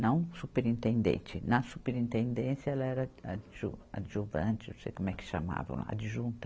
Não superintendente, na superintendência ela era ad, adjuvante, não sei como é que chamavam lá, adjunta.